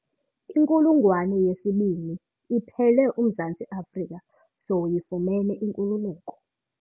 Inkulungwane yesibini iphele uMzantsi Afrika sowuyifumene inkululeko.